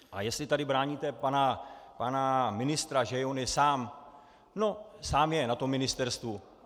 A jestli tady bráníte pana ministra, že on je sám - no, sám je na tom ministerstvu.